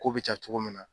Ko bɛ ja cogo min na